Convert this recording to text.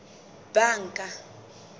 banka